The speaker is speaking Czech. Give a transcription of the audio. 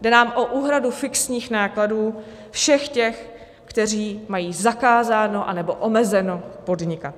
Jde nám o úhradu fixních nákladů všech těch, kteří mají zakázáno nebo omezeno podnikat.